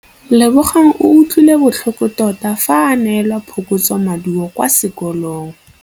Lebogang o utlwile botlhoko tota fa a neelwa phokotsômaduô kwa sekolong.